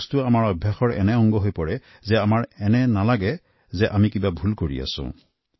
কিছু কিছু কামত আমি ইমানেই অভ্যস্ত হৈ পৰোঁ যে আমাৰ মনত নহয় যে কামটো অনুচিত